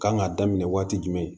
Kan k'a daminɛ waati jumɛn